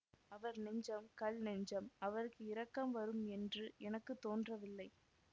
அவர் நெஞ்சம் கல் நெஞ்சம் அவருக்கு இரக்கம் வரும் என்று எனக்கு தோன்றவில்லை